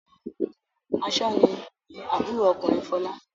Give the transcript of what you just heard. Aṣọ́ni ni àbúrò ọkùnrin Fọlá.